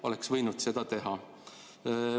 Oleks võinud seda teha.